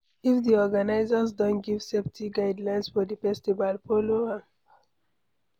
If di organisers don give safety guidlines for di festival, follow am